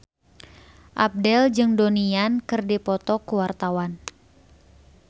Abdel jeung Donnie Yan keur dipoto ku wartawan